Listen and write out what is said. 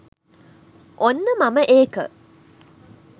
ඔන්න මම ඒක